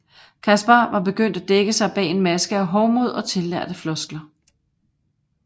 Kaspar var begyndt at dække sig bag en maske af hovmod og tillærte floskler